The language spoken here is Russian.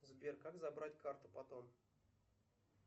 сбер как забрать карту потом